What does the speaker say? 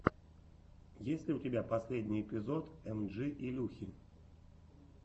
есть ли у тебя последний эпизод эмджи илюхи